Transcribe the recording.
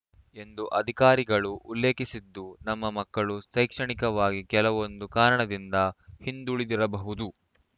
ಎಂದು ಅಧಿಕಾರಿಗಳು ಉಲ್ಲೇಖಿಸಿದ್ದು ನಮ್ಮ ಮಕ್ಕಳು ಶೈಕ್ಷಣಿಕವಾಗಿ ಕೆಲವೊಂದು ಕಾರಣದಿಂದ ಹಿಂದುಳಿದಿರಬಹುದು